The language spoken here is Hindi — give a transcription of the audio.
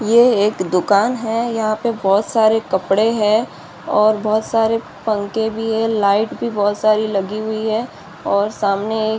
ये एक दुकान है | यहाँ पे बहुत सारे कपड़े हैं और बहुत सारे पंखे भी है लाइट भी बहुत सारी लगी हुई है और सामने एक --